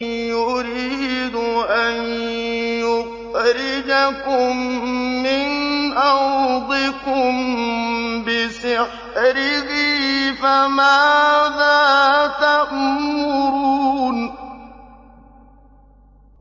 يُرِيدُ أَن يُخْرِجَكُم مِّنْ أَرْضِكُم بِسِحْرِهِ فَمَاذَا تَأْمُرُونَ